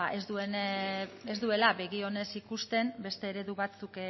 ba ez duela begi honez ikusten beste eredu batzuk